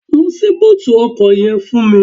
Lọ ṣí búùtì ọkọ̀ yẹn fún mi